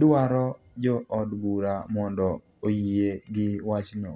dwaro jo od bura mondo oyie gi wachno